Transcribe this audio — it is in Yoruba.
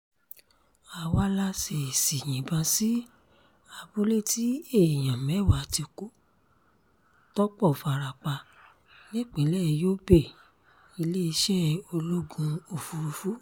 àwa la ṣèèṣì yìnbọn sí abúlé tí èèyàn mẹ́wàá ti kú tọ́pọ̀ fara pa nípìnlẹ̀ yobe- iléeṣẹ́ ológun òfurufú